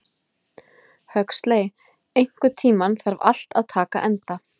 Huxley, einhvern tímann þarf allt að taka enda.